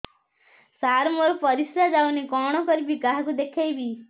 ସାର ମୋର ପରିସ୍ରା ଯାଉନି କଣ କରିବି କାହାକୁ ଦେଖେଇବି